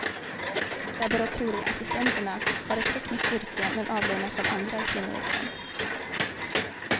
Laboratorieassistenterna har ett tekniskt yrke men avlönas som andra i kvinnoyrken.